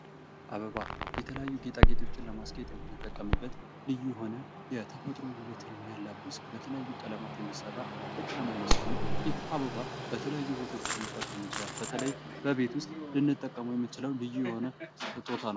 አበባ የተለያዩ ጌጤጌጦችን ለማስጌጥ የየምንጠቀበት ልዩ የሆነ የተፈጥሮ ዉበትን የሚያላብስ የቀለም አይነት ሲሆን ይህ አበባ በተለያዩ ቦታዎች ልንጠቀመዉ እንችላለን። በተለይ በቤት ዉስጥ ልንጠቀመዉ የምንችል ልዩ የሆነ ስጦታ ነዉ።